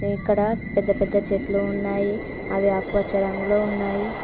ఇక్కడ పెద్ద పెద్ద చెట్లు ఉన్నాయి అవి ఆకుపచ్చ రంగులో ఉన్నాయి.